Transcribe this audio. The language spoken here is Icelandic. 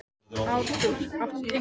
Artúr, áttu tyggjó?